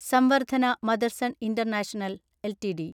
Samvardhana Motherson international LTD